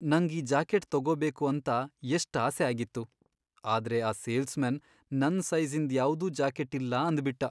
ನಂಗ್ ಈ ಜಾಕೆಟ್ ತಗೋಬೇಕು ಅಂತ ಎಷ್ಟ್ ಆಸೆ ಆಗಿತ್ತು, ಆದ್ರೆ ಆ ಸೇಲ್ಸ್ಮನ್ ನನ್ ಸೈಜಿ಼ಂದ್ ಯಾವ್ದೂ ಜಾಕೆಟ್ ಇಲ್ಲ ಅಂದ್ಬಿಟ್ಟ.